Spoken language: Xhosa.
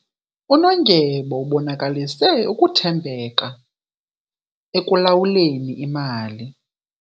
Unondyebo ubonakalise ukuthembeka ekulawuleni imali.